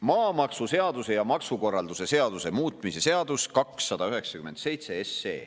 Maamaksuseaduse ja maksukorralduse seaduse muutmise seaduse eelnõu 297.